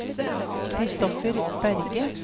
Christopher Berge